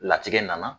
Latigɛ nana